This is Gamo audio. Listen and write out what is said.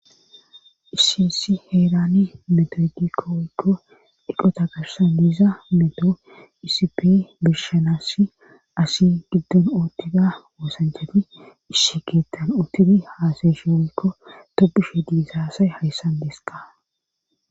iisi issi heerani metogikko oykko diqota garsaniza meto iisip birshanassi asi giddon ootida woosanchefi ishshi geettan otiri haasaeshe oykko tobushe diizaasay hayssan dees ka